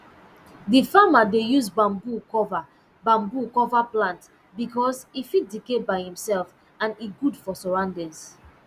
d farmer dey use bamboo cover bamboo cover plant because e fit decay by imself and e good for surroundings